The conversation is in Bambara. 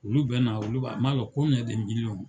Olu bɛ na olu b'a n m'a dɔn kɔnmiyɛn de miliyɔn